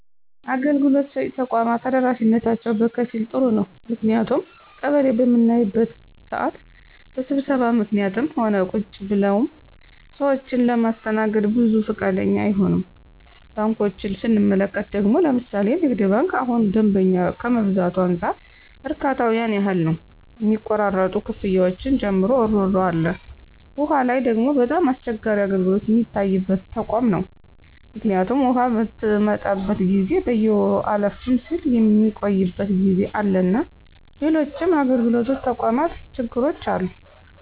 አገልግሎት ሰጭ ተቋማት ተደራሽነታቸው በከፊል ጥሩ ነው ምክንያቱም ቀበሌ በምናይበት ስዓት በስብሰባ ምክኒትም ሆነ ቁጭ ብለውም ሰዎችን ለማስተናገድ ብዙ ፈቃደኛ አይሆኑም። ባንኮችን ስንመለከት ደግሞ ለምሣሌ ንግድ ባንክ እሁን ደንበኛ ከመብዛቱ አንፃር እርካታው ያን ያህል ነው ሚቆራረጡ ክፍያዎችን ጨምሮ እሮሮ አለ። ዉሃ ላይ ደግሞ በጣም አስቸጋሪ አገልግሎት ሚታይበት ተቋም ነው ምክኒቱም ውሃ ምትመጣበት ጊዜ በየወሩ አለፍም ስል ሚቆይበት ጊዜ አለና ሎሎችም የአገልግሎት ተቋማት ችግሮች አሉ።